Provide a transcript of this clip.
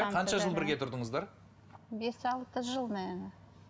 қанша жыл бірге тұрдыңыздар бес алты жыл наверное